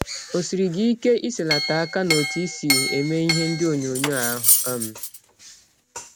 Ọ siri gị ike iselata aka n’ọtụ i si eme ihe ndị ọnyọnyọ ahụ um?